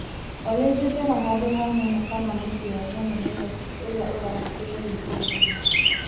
Olĩ njethera handũ ha nyamũ kana muciĩ wa nyamũ Naĩrobĩ ũrĩa ũrahingũrwo wikendi ĩno .